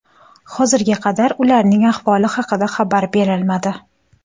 Hozirga qadar ularning ahvoli haqida xabar berilmadi.